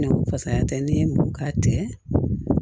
Fasaya tɛ n'i ye mugu k'a cɛ